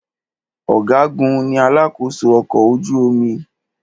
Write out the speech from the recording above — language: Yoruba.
Ọ̀gágun ní alakósó ọkọ̀ ojú omi.